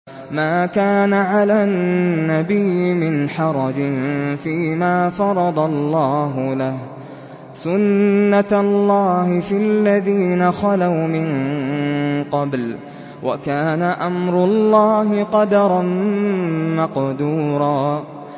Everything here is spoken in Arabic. مَّا كَانَ عَلَى النَّبِيِّ مِنْ حَرَجٍ فِيمَا فَرَضَ اللَّهُ لَهُ ۖ سُنَّةَ اللَّهِ فِي الَّذِينَ خَلَوْا مِن قَبْلُ ۚ وَكَانَ أَمْرُ اللَّهِ قَدَرًا مَّقْدُورًا